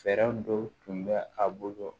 Fɛɛrɛ dɔw tun bɛ a bolo